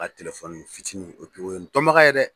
fitini o ye n dɔnbaga ye dɛ.